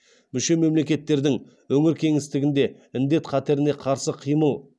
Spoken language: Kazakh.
мүше мемлекеттердің өңір кеңістігінде індет қатеріне қарсы қимыл